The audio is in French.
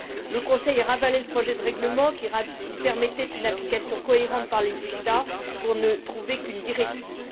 Le Conseil a ravalé le projet de règlement, qui permettait une application cohérente par les États, pour ne trouver qu'une directive.